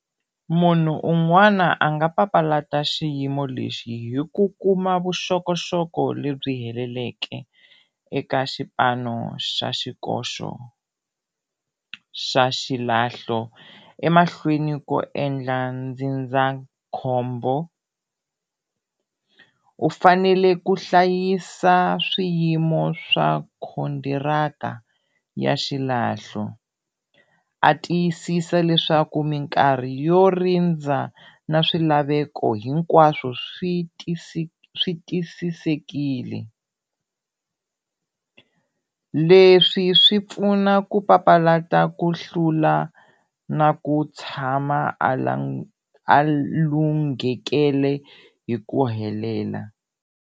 Munhu un'wana a nga papalata xiyimo lexi hi ku kuma vuxokoxoko lebyi heleleke eka xipano xa xikoxo xa xilahlo emahlweni ko endla ndzindzakhombo, u fanele ku hlayisa swiyimo swa ya xilahlo, a tiyisisa leswaku minkarhi yo rindza na swilaveko hinkwaswo swi swi tisisekile, leswi swi pfuna ku papalata ku hlula na ku tshama a a lunghekele hi ku helela.